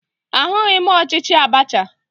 Ahụghị m ọchịchị Abacha